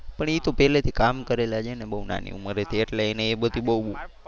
પણ એ તો પેલે થી કામ કરેલા છે ને બહુ નાની ઉમરે થી એટલે એને એ બધી બહુ.